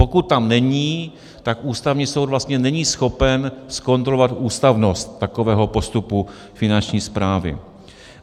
Pokud tam není, tak Ústavní soud vlastně není schopen zkontrolovat ústavnost takového postupu Finanční správy.